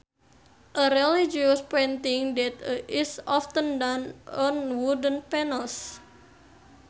A religious painting that is often done on wooden panels